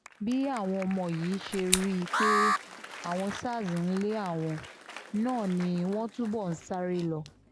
bí àwọn ọmọ yìí ṣe rí i pé àwọn sars ń lé àwọn náà ni wọ́n túbọ̀ ń sáré lọ